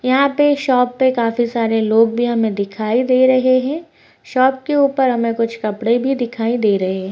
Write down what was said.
यहाँ पे शॉप पे काफी सारे लोग भी हमें दिखाई दे रहे हैं । शॉप के ऊपर हमें कुछ कपड़े भी दिखाई दे रहे हैं ।